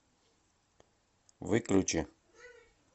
выключи